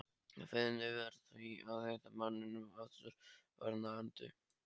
Kvíðinn yfir því að hitta manninn aftur var nagandi.